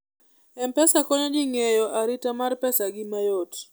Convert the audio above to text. m-pesa konyo ji ng'eyo arita mar pesa gi mayot